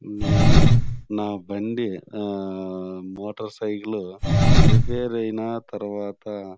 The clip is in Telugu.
నేను నా బండి ఆ మోటర్ సైకిల్ రిపేర్ అయినా తర్వాత--